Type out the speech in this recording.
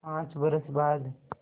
पाँच बरस बाद